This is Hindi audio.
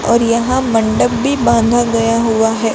और यहां मंडप भी बांधा गया हुआ है।